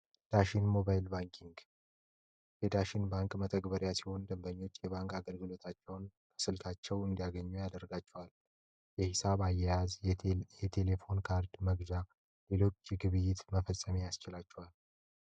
ዳሽን ሞባይል ባንኪንግ የዳሽን ባንክ መተግበሪያ ሲሆን ደንበኞች የባንክ አገልግሎታቸውን በስልካቸው እንዲያገኙ ያደርጋቸዋል። የሂሳብ አያያዝ የቴሌፎን ካርድ መግዣ እና ሌሎች ግብይቶችን መፈጸም ያስችላቸዋል።